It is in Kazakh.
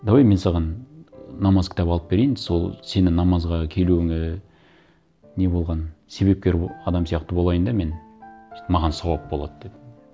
давай мен саған намаз кітап алып берейін сол сені намазға келуіңе не болған себепкер адам сияқты болайын да мен маған сауап болады деді